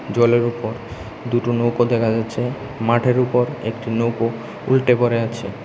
জলের উপর দুটো নৌকো দেকা যাচ্ছে মাঠের উপর একটি নৌকো উল্টে পড়ে আছে।